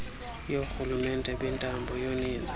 yoorhulumente bentando yoninzi